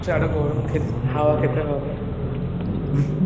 গরম খেতে হাওয়া খেতে হবে